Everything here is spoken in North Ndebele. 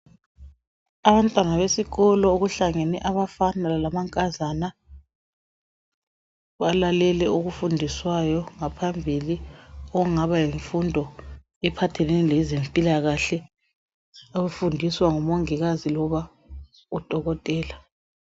Abantwana besikolo. Okuhlangene abafana lamankazana. Balalele okufundiswayo ngaphambili. Okungaba yimfundo ephhatheoene lezenpilakahle. Okufundiswa ngumongikazi. Loba udokotela.